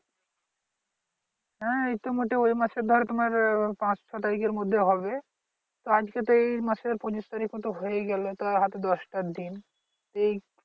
হ্যা এই তো মোটে ওই মাসে ধরো তোমার্ আহ পাঁচ ছ তারিখের মধ্যে হবে তো আজকে তো এই মাসের পচিশ তারিখও তো হয়েই গেলো তো আর হাতে দশটা দিন এই